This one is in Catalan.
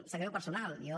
sap greu personal jo